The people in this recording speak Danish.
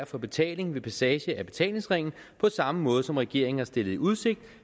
for betaling ved passage af betalingsringen på samme måde som regeringen har stillet i udsigt